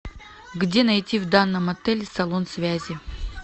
где найти в данном отеле салон связи